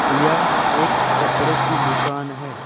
यह एक कपड़े की दुकान है।